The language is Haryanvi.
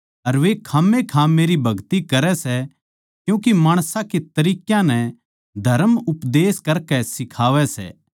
अर वे खांमखा मेरी भगति करै सै क्यूँके माणसां के तरीक्यां नै धरम उपदेश करकै सिखावै सै